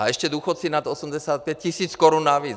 A ještě důchodci nad 85 tisíc korun navíc.